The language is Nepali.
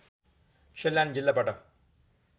सल्यान जिल्लाबाट